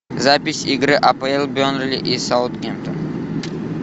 запись игры апл бернли и саутгемптон